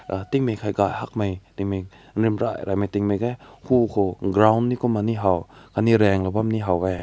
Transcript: uh tin kek gai hek mai temi rim rai rai tin kek hae hae lo ko ground kumni hao anew rang kumna ni haw weh.